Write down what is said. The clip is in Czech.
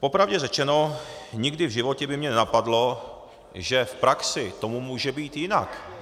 Popravdě řečeno, nikdy v životě by mě nenapadlo, že v praxi tomu může být jinak.